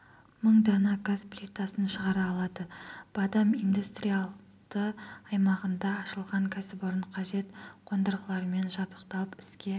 мың дана газ плитасын шығара алады бадам индустриалды аймағында ашылған кәсіпорын қажет қондырғылармен жабдықталып іске